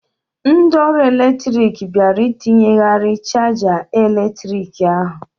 Ndị ọrụ eletrik bịara ịtinyeghari chaja eletrik ahụ.